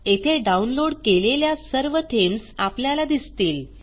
येथे डाऊनलोड केलेल्या सर्व थीम्स आपल्याला दिसतील